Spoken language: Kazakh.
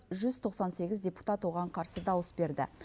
жүз тоқсан сегіз депутат оған қарсы дауыс берді